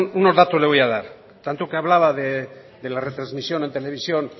unos datos le voy a dar tanto que hablaba de la retransmisión en televisión